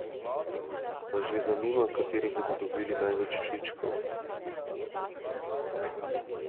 Vas že zanima, kateri bodo dobili največ všečkov?